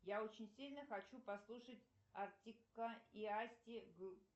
я очень сильно хочу послушать артика и асти